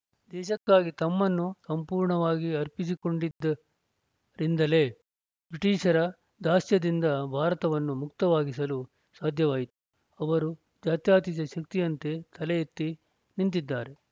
ದೇಶಕ್ಕಾಗಿ ತಮ್ಮನ್ನು ಸಂಪೂರ್ಣವಾಗಿ ಅರ್ಪಿಸಿಕೊಂಡಿದ್ದರಿಂದಲೇ ಬ್ರಿಟಿಷರ ದಾಸ್ಯದಿಂದ ಭಾರತವನ್ನು ಮುಕ್ತವಾಗಿಸಲು ಸಾಧ್ಯವಾಯಿತು ಅವರು ಜಾತ್ಯತೀತ ಶಕ್ತಿಯಂತೆ ತಲೆ ಎತ್ತಿ ನಿಂತಿದ್ದಾರೆ